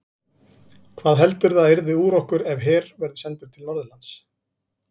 Hvað heldurðu að yrði úr okkur ef her verður sendur til Norðurlands?